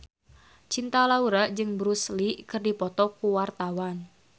Cinta Laura jeung Bruce Lee keur dipoto ku wartawan